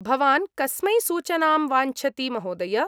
भवान् कस्मै सूचनां वाञ्छति महोदय?